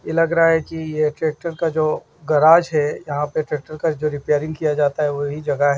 ये लग रहा है किट्रैक्टर का जो गराज है यहां पे ट्रैक्टर का रिपेयरिंग किया जाता है वही जगह --